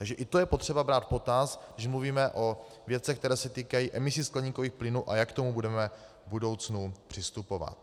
Takže i to je potřeba brát v potaz, když mluvíme o věcech, které se týkají emisí skleníkových plynů a jak k tomu budeme v budoucnu přistupovat.